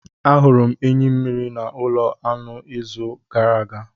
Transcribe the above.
Ahụrụ m enyi mmiri na ulo anu n'izu gara aga